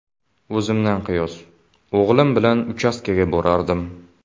O‘zimdan qiyos: o‘g‘lim bilan uchastkaga borardim.